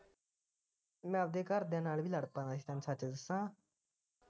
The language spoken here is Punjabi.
ਮੈ ਆਪਦੇ ਘਰਦਿਆਂ ਨਾਲ ਵੀ ਲੜ ਪੈਣਾ